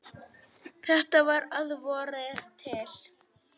Þetta var að vori til.